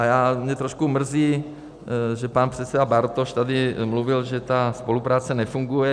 A mě trošku mrzí, že pan předseda Bartoš tady mluvil, že ta spolupráce nefunguje.